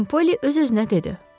Xanım Polly öz-özünə dedi: